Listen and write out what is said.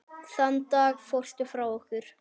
Þann dag fórstu frá okkur.